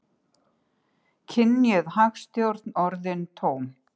Kynjuð hagstjórn orðin tóm